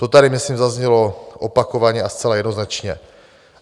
To tady myslím zaznělo opakovaně a zcela jednoznačně.